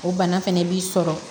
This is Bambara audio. O bana fɛnɛ b'i sɔrɔ